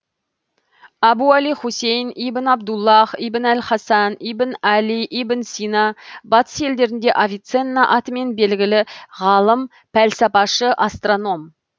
әбу әли хусейн ибн абдуллах ибн аль хасан ибн әли ибн сина батыс елдерінде авиценна атымен белгілі ғалым пәлсапашы астроном